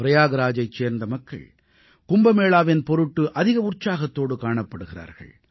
பிரயாக்ராஜைச் சேர்ந்த மக்கள் கும்பமேளாவின் பொருட்டு அதிக உற்சாகத்தோடு காணப்படுகிறார்கள்